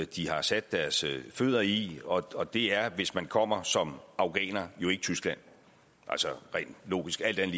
de har sat deres fødder i og det er hvis man kommer som afghaner jo ikke tyskland altså rent logisk alt